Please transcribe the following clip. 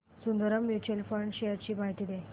Sundaram mutual fund shares ची माहिती दे